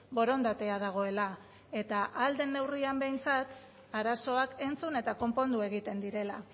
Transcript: borondatea dagoela eta ahal den neurrian behintzat arazoak entzun eta konpondu egiten direla